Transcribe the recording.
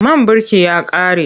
Man birki ya ƙare.